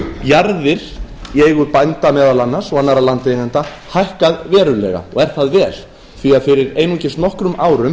jarðir í eigu bænda meðal annars og annarra landeigenda hækkað verulega og er það vel því að fyrir einungis nokkrum árum